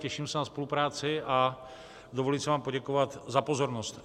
Těším se na spolupráci a dovoluji si vám poděkovat za pozornost.